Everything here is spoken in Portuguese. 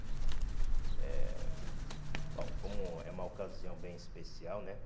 eh Bom, como é uma ocasião bem especial, né?